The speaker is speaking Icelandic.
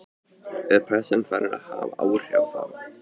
Er pressan farin að hafa áhrif á þá?